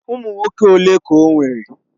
Ụmụ nwoke ole ka o nwere?